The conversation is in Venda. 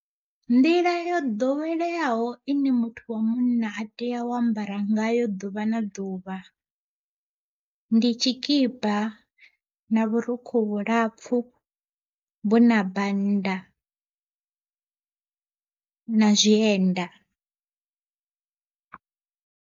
Nḓila yo ḓoweleaho ine muthu wa munna a tea u ambara nga yo ḓuvha na ḓuvha, ndi tshikipa na vhurukhu vhulapfu vhuna banda na zwienda.